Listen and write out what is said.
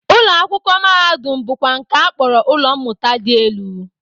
Ụlọakwụkwọ mahadum bụkwa nke a kpọrọ ụlọ mmụta dị elu